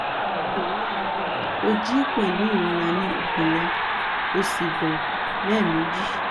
ní òwúrọ̀ yìí ó jí pẹ̀lú ìrora ni ikùn rẹ ó sì bọ́ lẹ́ẹ̀meji